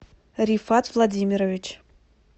рифат владимирович